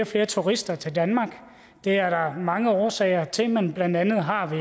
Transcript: flere turister til danmark det er der mange årsager til men blandt andet har vi